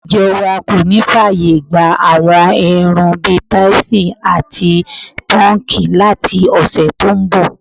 Ìjo̩ wa kò ní fáàyè gba àwo̩n irun bi táìsò̩n àti pó̩nǹkì láti ò̩sè̩ tó ń bò̩.